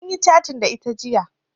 Munyi catin da ita jiya